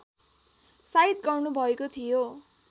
साइत गर्नुभएको थियो